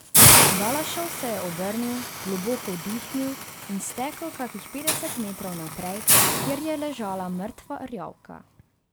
Balašov se je obrnil, globoko vdihnil in stekel kakih petdeset metrov naprej, kjer je ležala mrtva rjavka.